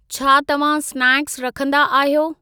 छा तव्हां स्नैक्स रखंदा आहियो?